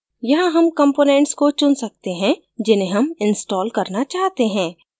यहाँ हम components को चुन सकते हैं जिन्हें हम install करना चाहते हैं